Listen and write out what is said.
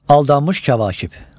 Aldanmış kəvakib.